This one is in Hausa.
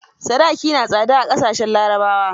Sadaki na da tsada a ƙasashen larabawa.